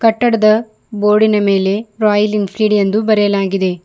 ಕಟ್ಟಡದ ಬೋರ್ಡಿನ ಮೇಲೆ ರಾಯಲ್ ಎನ್ಫೀಲ್ಡ್ ಎಂದು ಬರೆಯಲಾಗಿದೆ.